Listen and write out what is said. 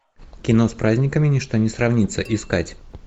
кино с праздниками ничто не сравнится искать